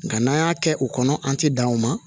Nka n'an y'a kɛ u kɔnɔ an ti dan o ma